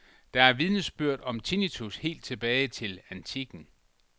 Der er vidnesbyrd om tinnitus helt tilbage til antikken.